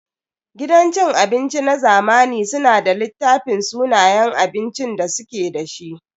Gidan cin abinci na zamani suna da littafin sunayen abincin da suke da shi.